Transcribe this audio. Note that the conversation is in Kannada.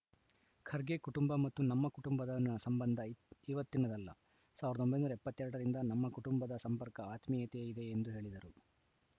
ಖರ್ಗೆ ಕುಟುಂಬ ಮತ್ತು ನಮ್ಮ ಕುಟುಂಬದ ಸಂಬಂಧ ಇವತ್ತಿನದಲ್ಲ ಸಾವಿರದ ಒಂಬೈನೂರ ಎಪ್ಪತ್ತ್ ಎರಡ ರಿಂದ ನಮ್ಮ ಕುಟುಂಬದ ಸಂಪರ್ಕ ಆತ್ಮೀಯತೆ ಇದೆ ಎಂದು ಹೇಳಿದರು